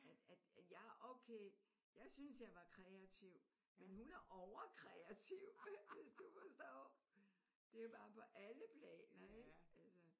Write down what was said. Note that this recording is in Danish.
At at at jeg har okay jeg synes jeg var kreativ men hun er overkreativ hvis du forstår. Det er jo bare på alle planer ik? Altså